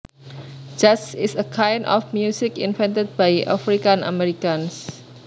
Jazz is a kind of music invented by African Americans